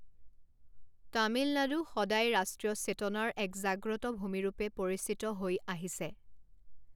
তামিলনাডু সদায় ৰাষ্ট্ৰীয় চেতনাৰ এক জাগ্ৰত ভূমি ৰূপে পৰিচিত হৈ আহিছে।